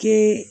Kɛ